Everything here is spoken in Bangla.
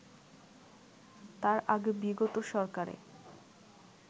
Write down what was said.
তার আগে বিগত সরকারে